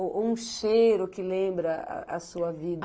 Ou um cheiro que lembra a sua vida?